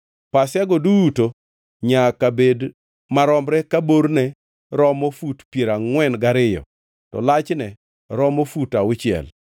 Pasiago duto nyaka bed maromre ka borne romo fut piero angʼwen gariyo to lachne romo fut auchiel.